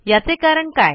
याचे कारण काय